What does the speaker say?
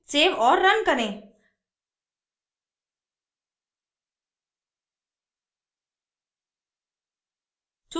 save और run करें